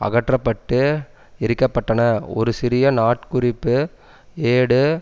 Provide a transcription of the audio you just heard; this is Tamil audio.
அகற்ற பட்டு எரிக்கப்பட்டன ஒரு சிறிய நாட்குறிப்பு ஏடு